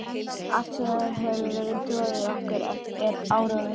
Allt sem hefur verið troðið í okkur er áróður.